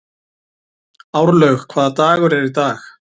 Árlaug, hvaða dagur er í dag?